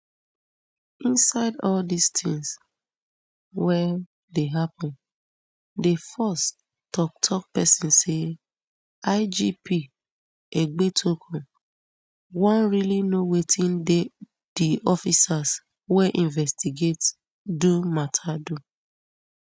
inside all di tins wey dey happun di force toktok pesin say igp egbetokun wan really know wetin di officers wey investigate do mata do